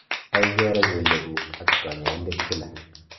ai keroo keliek guuk ak kanyaindet kila